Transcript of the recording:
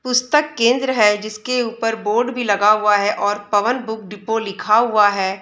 पुस्तक केंद्र है। जिसके ऊपर बोर्ड भी लगा हुआ है और पवन बुक डिपो लिखा हुआ है।